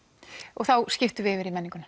og þá skiptum við yfir í menninguna